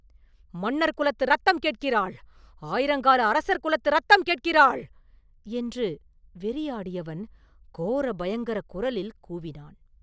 “மன்னர் குலத்து இரத்தம் கேட்கிறாள்; ஆயிரங்கால அரசர் குலத்து இரத்தம் கேட்கிறாள்!” என்று வெறியாடியவன் கோர பயங்கரக் குரலில் கூவினான்.